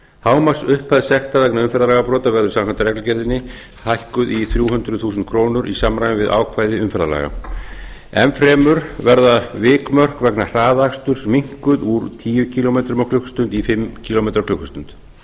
hámarksupphæð sekta vegna umferðarlagabrota verður samkvæmt reglugerðinni hækkuð í þrjú hundruð þúsund krónur í samræmi við ákvæði umferðarlaga enn fremur verða vikmörk vegna hraðaksturs minnkuð úr tíu kílómetra á klukkustund í fimm kílómetra á klukkustund